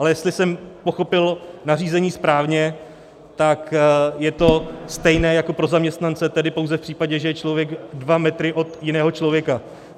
Ale jestli jsem pochopil nařízení správně, tak je to stejné jako pro zaměstnance, tedy pouze v případě, že je člověk dva metry od jiného člověka.